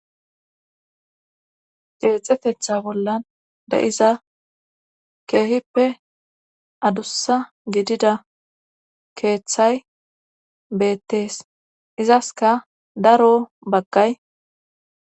geexefetha bollan da7iza keehippe adussa gidida keeththay beettees izaska daro baggay